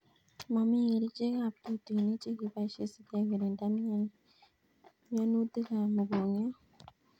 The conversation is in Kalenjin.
Mami kerichek ab tutuinik che keboishe sikekirinda mianutik ab mugongiot